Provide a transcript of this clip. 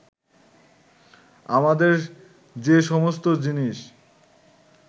আমাদের যে সমস্ত জিনিস